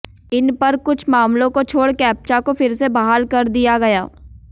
इस पर कुछ मामलों को छोड़ कैप्चा को फिर से बहाल कर दिया गया